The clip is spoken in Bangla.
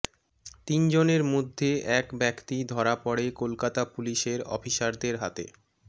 তিনজনের মধ্যে এক ব্যাক্তি ধরা পড়ে কলকাতা পুলিশের অফিসারদের হাতে